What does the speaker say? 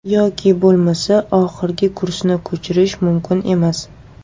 Yoki bo‘lmasa, oxirgi kursni ko‘chirish mumkin emas.